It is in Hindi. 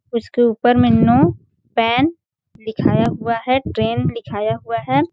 उसके ऊपर में नो पैन लिखाया हुआ है ट्रेंड लिखाया हुआ हैं ।